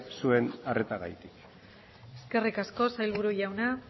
zuen arretagatik eskerrik asko sailburu jauna